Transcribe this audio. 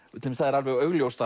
til dæmis það er alveg augljóst